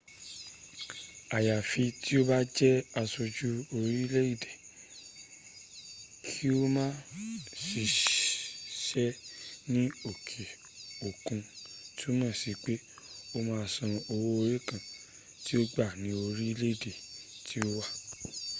àyàfi tí o bá jẹ́ aṣojú orílẹ̀ èdè kí o ma ṣiṣẹ́ ní òkè òkun túmọ̀ sí pé o ma san owó orí ǹkan tí ò ń gbà ní orílẹ̀ èdè tí o wà